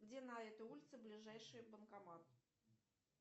где на этой улице ближайший банкомат